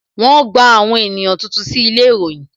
Wọn gba àwọn ènìyàn tuntun sí ilé ìròyìn